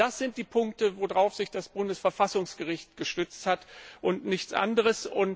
Das sind die Punkte, auf die sich das Bundesverfassungsgericht gestützt hat, und nichts anderes.